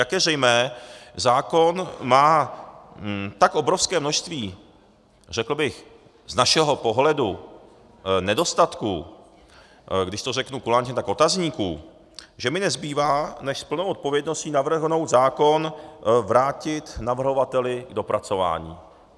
Jak je zřejmé, zákon má tak obrovské množství, řekl bych z našeho pohledu, nedostatků, když to řeknu kulantně, tak otazníků, že mi nezbývá než s plnou odpovědností navrhnout zákon vrátit navrhovateli k dopracování.